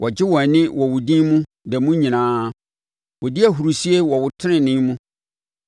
Wɔgye wɔn ani wɔ wo din mu da mu nyinaa; wɔdi ahurisie wɔ wo tenenee mu.